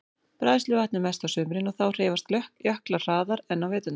Bræðsluvatn er mest á sumrin og þá hreyfast jöklar hraðar en á veturna.